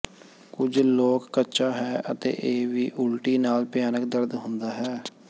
ਕੁਝ ਲੋਕ ਕੱਚਾ ਹੈ ਅਤੇ ਇਹ ਵੀ ਉਲਟੀ ਨਾਲ ਭਿਆਨਕ ਦਰਦ ਹੁੰਦਾ ਹੈ